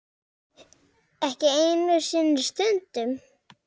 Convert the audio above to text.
Haukur: Ekki einu sinni stundum?